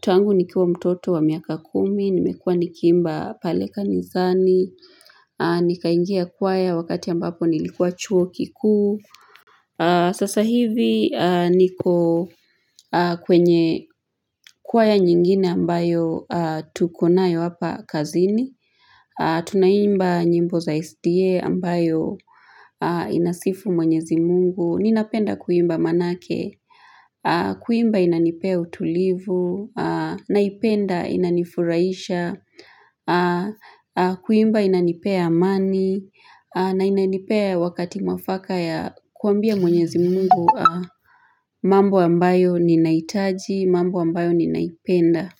Tangu nikiwa mtoto wa miaka kumi, nimekuwa nikiimba pale kanisani, nikaingia kwaya wakati ambapo nilikuwa chuo kikuu. Sasa hivi niko kwenye kwaya nyingine ambayo tukonayo hapa kazini. Tunaimba nyimbo za SDA ambayo inasifu mwenyezi mungu. Ninapenda kuimba manake, kuimba inanipea utulivu, naipenda inanifurahisha, kuimba inanipea amani, na inanipea wakati mwafaka ya kuambia mwenyezi mungu mambo ambayo ninahitaji, mambo ambayo ninaipenda.